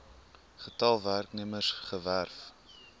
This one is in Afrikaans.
getal werknemers gewerf